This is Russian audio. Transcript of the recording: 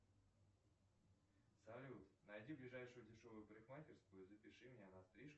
салют найди ближайшую дешевую парикмахерскую и запиши меня на стрижку